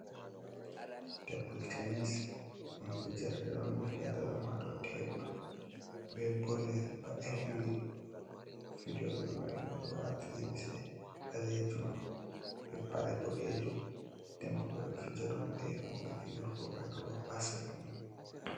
Tebul tenis ɗum fijerde on ɓe fiyata ɗum ha dou tebul be bol'yel ba ekni. Fijoɓe mai oɗo waati limsi ɓalejum be paɗe boɗejum. Nden bo ɓeɗo fija ɗum be hunde fiyurgo mai ba waɗugo basket ni.